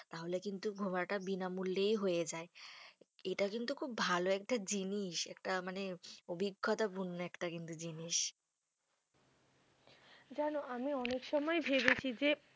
তাহলে কিন্তু ঘোরাটা বিনামূল্যেই হয়ে যায়। এটা কিন্তু খুব ভালো একটা জিনিস। একটা মানে অভিজ্ঞতাপূর্ণ একটা কিন্তু জিনিস। জানো, আমি অনেক সময় ভেবেছি যে,